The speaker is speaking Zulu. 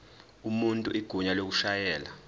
umuntu igunya lokushayela